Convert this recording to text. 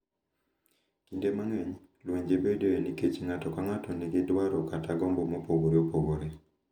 Kinde mang’eny, lwenje bedoe nikech ng’ato ka ng’ato nigi dwaro kata gombo mopogore opogore.